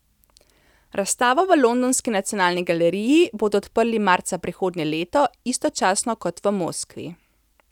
Razstavo v londonski nacionalni galeriji bodo odprli marca prihodnje leto, istočasno kot v Moskvi.